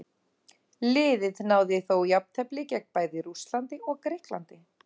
Liðið náði þó jafntefli gegn bæði Rússlandi og Grikklandi.